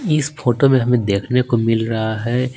इस फोटो में हमें देखने को मिल रहा है।